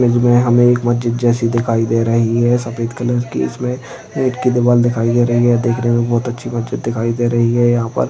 image में हमें एक मस्जिद जैसी दिखाई दे रही है सफेद कलर की इसमें ईट की दीवाल दिखाई दे रही है ये देखने में बहुत अच्छी मस्जिद दिखाई दे रही है यहाँ पर --